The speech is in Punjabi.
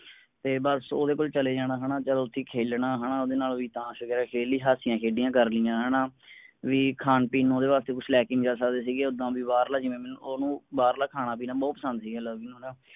ਤੇ ਬਸ ਓਹਦੇ ਕੋਲ ਚਲੇ ਜਾਣਾ ਹੈਨਾ, ਚਲੋ ਓਥੇ ਖੇਲਣਾ ਹੈਨਾ, ਓਹਦੇ ਨਾਲ ਵੀ ਤਾਸ਼ ਵਗੈਰਾ ਖੇਡ ਲਈ, ਹਾਸਿਆਂ ਖੇੜਿਆਂ ਕਰਲਈਆਂ ਹੈਨਾ, ਵੀ ਹੈਨਾ ਖਾਣ ਪੀਣ ਨੂੰ ਓਹਦੇ ਵਾਸਤੇ ਕੁਛ ਲੈ ਕੇ ਨੀ ਜਾ ਸਕਦੇ ਸੀਗੇ, ਜਿਵੇਂ ਮੈਂਨੂੰ ਓਹਨੂੰ ਬਾਹਰਲਾ ਖਾਣਾ ਪੀਣਾ ਬਹੁਤ ਪਸੰਦ ਸੀਗਾ ਲਵੀ ਨੂੰ ਹੈਨਾ